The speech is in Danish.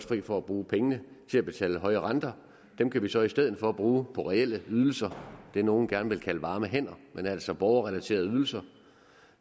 fri for at bruge pengene til at betale høje renter dem kan vi så i stedet for bruge på reelle ydelser det nogle gerne vil kalde varme hænder altså borgerrelaterede ydelser